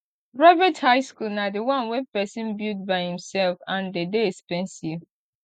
private high school na di one wey persin build by himself and de dey expensive